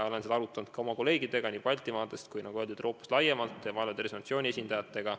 Olen seda arutanud nii oma kolleegidega Baltimaadest kui ka, nagu öeldud, Euroopast laiemalt ja Maailma Tervishoiuorganisatsiooni esindajatega.